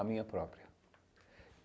A minha própria.